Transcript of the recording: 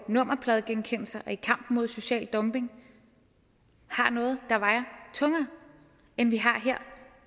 nummerpladegenkendelse og i kampen mod social dumping har noget der vejer tungere end vi har her